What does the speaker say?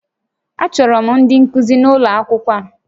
A chọrọ ndị nkuzi n'ụlọ akwụkwọ a